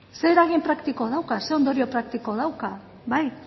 zein eragin praktiko dauka zein ondorio praktiko dauka bai